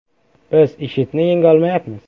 Biz IShIDni yenga olmayapmiz.